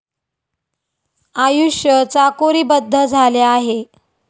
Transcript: आयुष्य चाकोरीबद्ध झाले आहे.